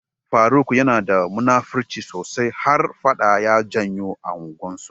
Faruk yanada da munafirci sosai, har faɗa ya janyo a unguwan su.